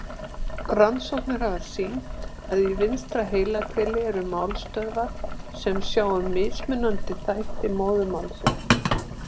Rannsóknir hafa sýnt að í vinstra heilahveli eru málstöðvar sem sjá um mismunandi þætti móðurmálsins.